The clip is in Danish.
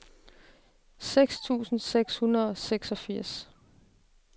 seks tusind seks hundrede og seksogfirs